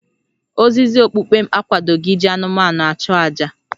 Ozizi okpukpe m akwadoghị iji anụmanụ achụ àjà